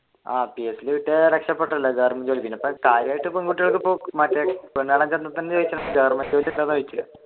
ആഹ് PSC യിൽ കിട്ടിയ രക്ഷപെട്ടല്ലോ ഗവണ്മെന്റ് ജോലി അല്ലെ